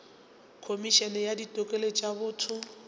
khomišene ya ditokelo tša botho